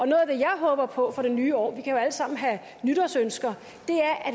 jeg håber på for det nye år vi kan jo alle sammen have nytårsønsker